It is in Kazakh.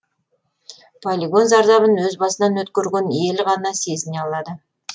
полигон зардабын өз басынан өткерген ел ғана сезіне алады